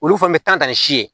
Olu fana bɛ tan ka ni si ye